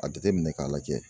A jateminɛ k'a lajɛ.